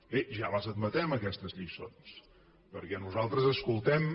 bé ja les admetem aquestes lliçons perquè nosaltres escoltem